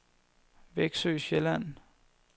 Veksø Sjælland